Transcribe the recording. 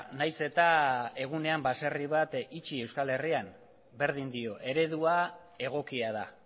nahiz eta egunean baserri bat itxi euskal herrian berdin dio eredua egokia da